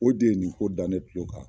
O de ye nin ko da ne kulo kan.